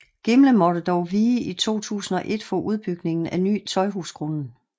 Gimle måtte dog vige i 2001 for udbygningen af Ny Tøjhusgrunden